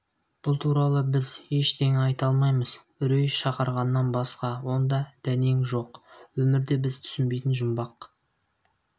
бұл туралы біз ештеңе айта алмаймыз үрей шақырғаннан басқа онда дәнең жоқ өмірде біз түсінбейтін жұмбақ